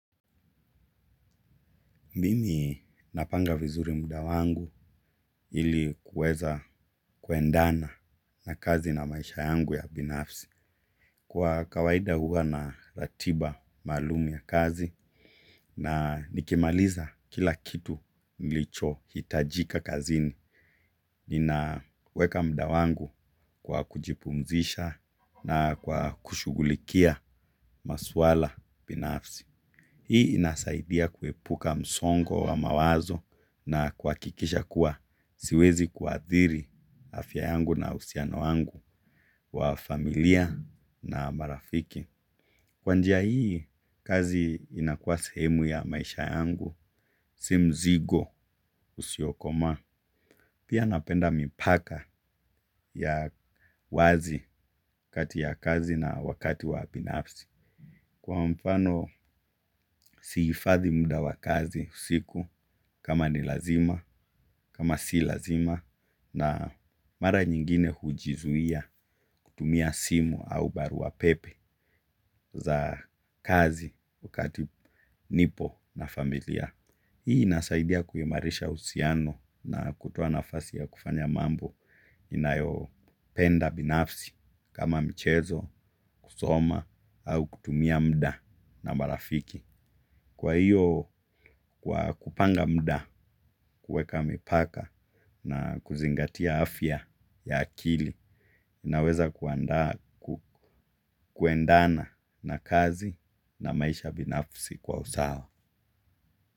Mimi napanga vizuri muda wangu ili kuweza kuendana na kazi na maisha yangu ya binafsi. Kwa kawaida huwa na ratiba maalum ya kazi na nikimaliza kila kitu nilicho hitajika kazini. Ninaweka muda wangu kwa kujipumzisha na kwa kushughulikia maswala binafsi. Hii inasaidia kuepuka msongo wa mawazo na kwa kuhakikisha kuwa siwezi kuathiri afya yangu na uhusiano wangu wa familia na marafiki. Kwa njia hii kazi inakuwa sehemu ya maisha yangu si mzigo usiokoma. Pia napenda mipaka ya wazi kati ya kazi na wakati wa binafsi. Kwa mfano sihifadhi muda wa kazi usiku kama ni lazima kama si laz na mara nyingine hujizuia kutumia simu au barua pepe za kazi wakati nipo na familia. Hii inasaidia kuimarisha uhusiano na kutoa nafasi ya kufanya mambo inayo penda binafsi kama mchezo, kusoma au kutumia muda na marafiki. Kwa hiyo kwa kupanga muda kuweka mipaka na kuzingatia afya ya akili inaweza kuendana na kazi na maisha binafsi kwa usawa.